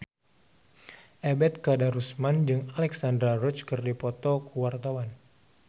Ebet Kadarusman jeung Alexandra Roach keur dipoto ku wartawan